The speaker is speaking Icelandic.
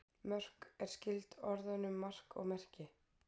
Mörk er skyld orðunum mark og merki.